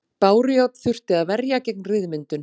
Bárujárn þurfti að verja gegn ryðmyndun.